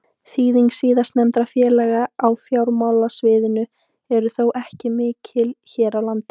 Þýðing síðastnefndra félaga á fjármálasviðinu er þó ekki mikil hér á landi.